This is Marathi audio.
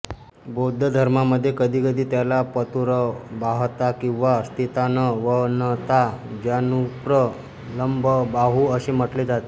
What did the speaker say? बौद्ध धर्मामध्ये कधीकधी त्याला पातुरबाहता किंवा स्थितानवनताजानुप्रलम्बबाहुः असे म्हटले जाते